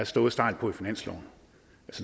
stået stejlt på i finansloven